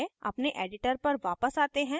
अपने editor पर वापस आते हैं